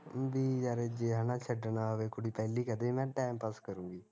ਵੀ ਯਾਰ ਜੇ ਹੈਨਾ ਛੱਡਣਾ ਹੋਵੇ ਕੁੜੀ ਪਹਿਲੇ ਕਹਿਦੇ ਵੀ ਮੈਂ time pass ਕਰੁਗੀ